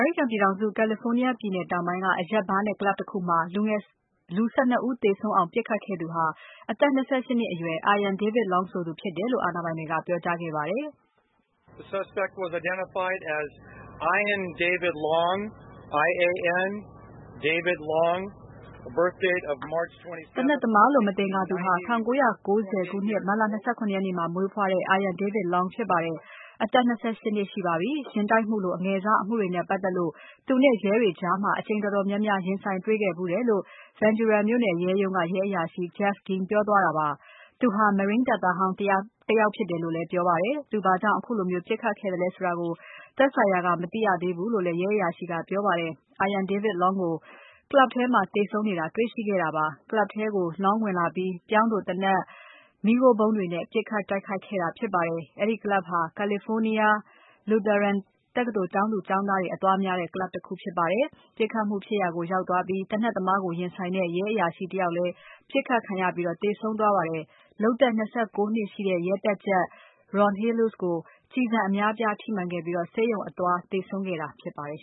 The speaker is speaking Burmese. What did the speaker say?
ရိကန်ပြည်ထောင်စု California ပြည်နယ်တောင်ပိုင်းက အရက်ဘားနဲ့ Club တခုမှာ လူ ၁၂ ဦးသေဆုံးအောင်ပစ်ခတ်ခဲ့သူဟာ အသက် ၂၈ နှစ်အရွယ် Ian David Long ဆိုသူဖြစ်တယ်လို့ အာဏာပိုင်တွေပြောကြားလိုက်ပါတယ်။ သေနတ်သမားလို့ မသင်္ကာသူဟာ ၁၉၉၀ မတ်လ ၂၇ ရက်နေ့မှာမွေးဖွားတဲ့ Ian David Long ဖြစ်ပါတယ်။ အသက် ၂၈ နှစ်ရှိပါပြီ။ ယာဉ်တိုက်မှုလို အငယ်စားအမှုတွေနဲ့ပါတ်သက်လို့ သူနဲ့ရဲတွေကြား အကြိမ်တော်တော်များများ ရင်ဆိုင်တွေ့ခဲ့ဖူးတယ်လို့ Ventura မြို့နယ်ရဲရုံးက ရဲအရာရှိ Geoff Dean ပြောသွားတာဖြစ်ပါတယ်။ သူဟာ Marine တပ်သားဟောင်းတယောက်ဖြစ်တယ်လို့ ပြောပါတယ်။ သူဘာကြောင့် ခုလိုပစ်ခတ်ခဲ့သလဲဆိုတာကို သက်ဆိုင်ရာ မသိရသေးဘူးလို့လည်း ရဲအရာရှိကပြောပါတယ်။ Ian David Long ကို Club ထဲမှာသေဆုံးနေတာ တေ့ွရှိခဲ့တာပါ။ Club ထဲကို Long ဝင်လာပြီး ပြောင်းတိုသေနတ်၊ မီးခိုးဗုံးတွေနဲ့ ပစ်ခတ်ခဲ့တာပါ။ အဲဒီ Club ဟာ California Lutheran တက္ကသိုလ်ကျောင်းသူ ကျောင်းသားတွေအသွားများတဲ့ Club တခုဖြစ်ပါတယ်။ ပြစ်ခတ်မှုဖြစ်ရာကိုရောက်သွားပြီး သေနတ်သမားကို ရင်ဆိုင်တဲ့ ရဲအရာရှိတယောက်လည်း ပစ်ခတ်ခံရပြီး သေဆုံးသွားပါတယ်။ လုပ်သက် ၂၉ နှစ်ရှိတဲ့ ရဲတပ်ကြပ် Ron Helus ကိုကျည်ဆံ အများအပြားထိမှန်ခဲ့ပြီး ဆေးရုံအသွားသေဆုံးခဲ့တာဖြစ်ပါတယ်